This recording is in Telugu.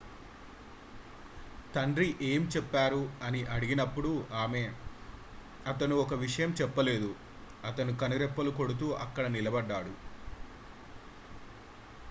"తండ్రి ఏమి చెప్పారు అని అడిగినప్పుడు ఆమె "అతను ఒక విషయం చెప్పలేదు - అతను కనురెప్పలు కొడుతూ అక్కడ నిలబడ్డాడు.""